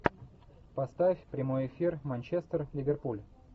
поставь прямой эфир манчестер ливерпуль